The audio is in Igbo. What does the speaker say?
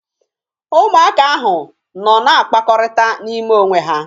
Ụmụaka ahụ nọ na-akpakọrịta n'ime onwe ha.